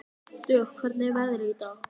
Dögg, hvernig er veðrið í dag?